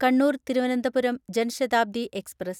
Kannur Thiruvananthapuram Jan Shatabdi express